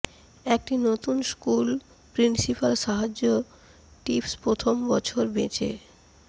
একটি নতুন school principal সাহায্য টিপস প্রথম বছর বেঁচে